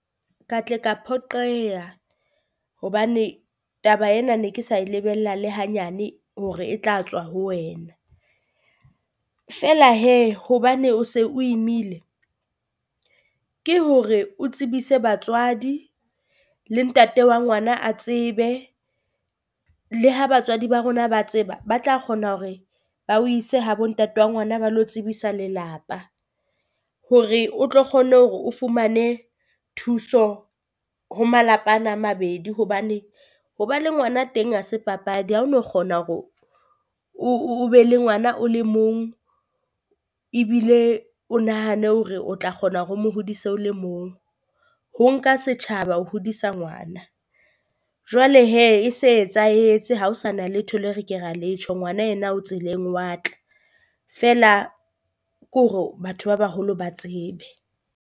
Ka tle ka phoqeha hobane taba ena ne ke sa e lebella le hanyane hore e tla tswa ho wena. Feela hee hobane o se o imaile ke hore o tsebise batswadi le ntate wa ngwana a tsebe, le ha batswadi ba rona ba tseba ba tla kgona hore ba o ise ha bo ntate wa ngwana ba le tsebisa lelapa. Hore o tlo kgone hore o fumane thuso ho malapa ana a mabedi hobane ho ba le ngwana teng ha se papadi, ha o no kgona hore o be le ngwana o le mong ebile o nahane hore o tla kgona hore o mo hodise le mong, ho nka setjhaba ho hodisa ngwana. Jwale hee e se e etsahetse ha o sa na letho le re ke ra le tjho ngwana yena o tseleng wa tla, feela ke hore batho ba baholo ba tsebe.